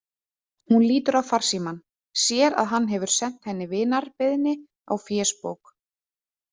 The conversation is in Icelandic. Hún lítur á farsímann, sér að hann hefur sent henni vinarbeiðni á fésbók.